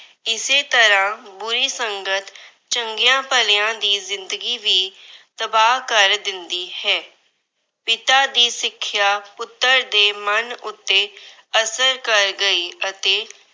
ਇਸੇ ਤਰ੍ਹਾਂ ਬੁਰੀ ਸੰਗਤ ਚੰਗਿਆਂ ਭਲਿਆਂ ਦੀ ਜਿੰਦਗੀ ਵੀ ਤਬਾਹ ਕਰ ਦਿੰਦੀ ਹੈ। ਪਿਤਾ ਦੀ ਸਿੱਖਿਆ ਪੁੱਤਰ ਦੇ ਮਨ ਉੱਤੇ ਅਸਰ ਗਈ ਅਤੇ